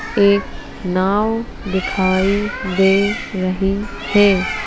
एक नाव दिखाई दे रही है ।